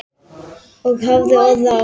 Og hafði orð á.